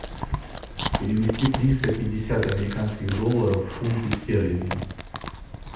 перевести триста пятьдесят американских долларов в фунты стерлинги